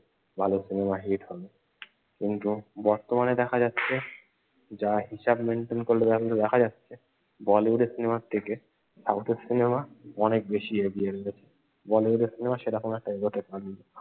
ভালো cinema hit হবে। কিন্তু বর্তমানে দেখা যাচ্ছে যা হিসাব maintain করলে যা কিছু দেখা যাচ্ছে বলিউডের সিনেমার থেকে সাউথ এর সিনেমা অনেক বেশি এগিয়ে রয়েছে। বলিউডের সিনেমা সেরকম একটা এগোতে পারেনি।